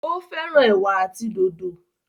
o féràn ewa àti dòdo.